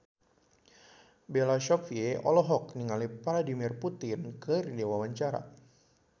Bella Shofie olohok ningali Vladimir Putin keur diwawancara